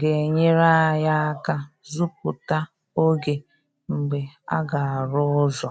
ga-enyere anyị aka zuputa oge mgbe aga-arụ ụzọ